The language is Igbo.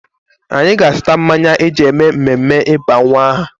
Anyị ga-azụta mmanya e ji eme mmemme ịba nwa aha.